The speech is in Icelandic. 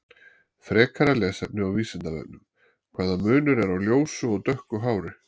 Frekara lesefni á Vísindavefnum: Hvaða munur er á ljósu og dökku hári?